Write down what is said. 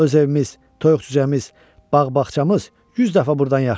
Öz evimiz, toyuq-cüzəmiz, bağ-bağçamız yüz dəfə burdan yaxşıdır.